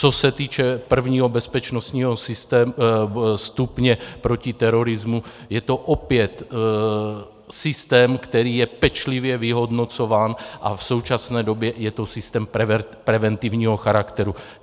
Co se týče prvního bezpečnostního stupně proti terorismu, je to opět systém, který je pečlivě vyhodnocován, a v současné době je to systém preventivního charakteru.